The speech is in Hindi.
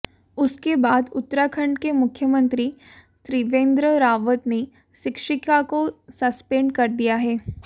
उसके बाद उत्तराखंड के मुख्यमंत्री त्रिवेंद्र रावत ने शिक्षिका को संस्पेंड कर दिया है